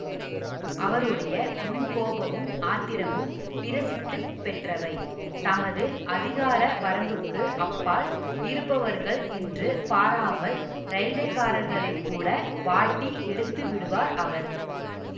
அவருடைய முன்கோபமும் ஆத்திரமும் பிரசித்திப் பெற்றவை தமது அதிகார வரம்புக்கு அப்பால் இருப்பவர்கள் என்று பாராமல் இரயில்வேக்காரர்களைக் கூட வாட்டி எடுத்து விடுவார் அவர்